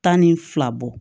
Tan ni fila bɔ